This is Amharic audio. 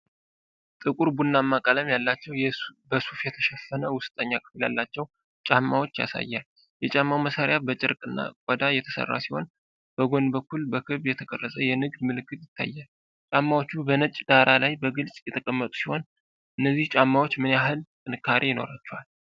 ጥቁር ቡናማ ቀለም ያላቸውና በሱፍ የተሸፈነ ውስጠኛ ክፍል ያላቸው ጫማዎችን ያሳያል። የጫማው ማሰሪያ ከጨርቅና ቆዳ የተሰራ ሲሆን፤ በጎን በኩል በክብ የተቀረጸ የንግድ ምልክት ይታያል። ጫማዎቹ በነጭ ዳራ ላይ በግልጽ የተቀመጡ ሲሆኑ፤ እነዚህ ጫማዎች ምን ያህል ጥንካሬ ይኖራቸዋል?